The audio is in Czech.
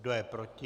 Kdo je proti?